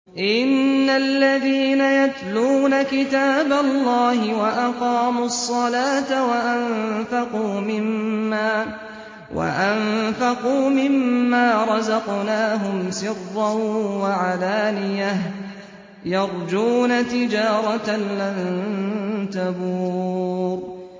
إِنَّ الَّذِينَ يَتْلُونَ كِتَابَ اللَّهِ وَأَقَامُوا الصَّلَاةَ وَأَنفَقُوا مِمَّا رَزَقْنَاهُمْ سِرًّا وَعَلَانِيَةً يَرْجُونَ تِجَارَةً لَّن تَبُورَ